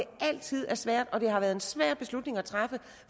altid er svært og at det har været en svær beslutning at træffe